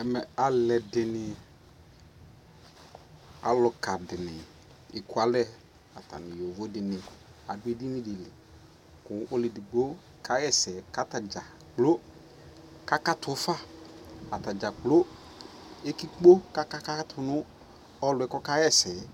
Ɛmɛ alu ɛdini, aluka dini ɛkua lɛ atani nu yovo di ni adu ɛdini di liKu ɔlu ɛdigbo ka ɣɛ sɛ kata dza kplo kaka tu faAta dza kplo ɛki kpo kaka katu nu ɔlu yɛ kɔka ɣɛ sɛ yɛ